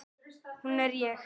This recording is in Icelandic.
Hún er ég.